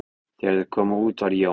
Þegar þeir komu út var Jón